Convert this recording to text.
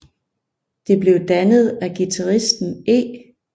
Det blev dannet af guitaristen E